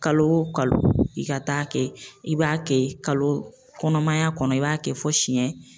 Kalo kalo i ka taa kɛ i b'a kɛ kalo kɔnɔmaya kɔnɔ i b'a kɛ fo siyɛn.